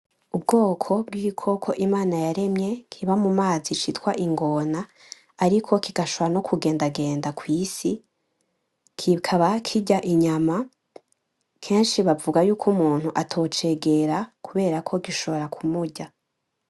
Ubwoko bw’igikoko Imana yaremye kiba mu mazi citwa ingona ariko kigashobora no kugenda genda ku isi kikaba kurya inyama keshi bavuga yuko umuntu atocegera kuberako gishobora ku murya.